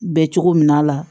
Bɛ cogo min na a la